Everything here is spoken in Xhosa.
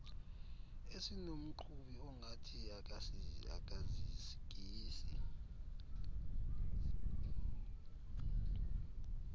esinomqhubi ongathi akazikisi